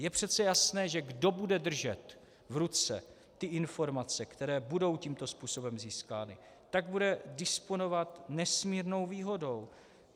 Je přece jasné, že kdo bude držet v ruce ty informace, které budou tímto způsobem získány, tak bude disponovat nesmírnou výhodou.